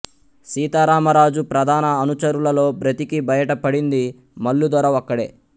సీతారామరాజు ప్రధాన అనుచరులలో బ్రతికి బయట పడింది మల్లుదొర ఒక్కడే